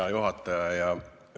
Hea juhataja!